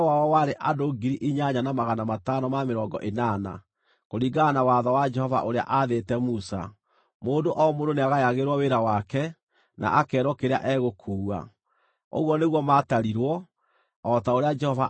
Kũringana na watho wa Jehova ũrĩa aathĩte Musa, mũndũ o mũndũ nĩagayagĩrwo wĩra wake, na akeerwo kĩrĩa egũkuua. Ũguo nĩguo maatarirwo, o ta ũrĩa Jehova aathĩte Musa.